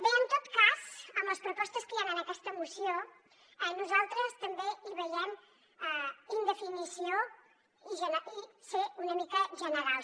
bé en tot cas en les propostes que hi han en aquesta moció nosaltres també hi veiem indefinició i ser una mica generals